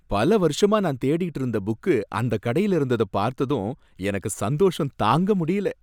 பல வருஷமா நான் தேடிட்டு இருந்த புக்கு அந்த கடையில இருந்தத பார்த்ததும் எனக்கு சந்தோஷம் தாங்க முடியல.